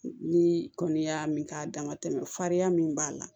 Ni kɔni y'a min k'a dama tɛmɛ farinya min b'a la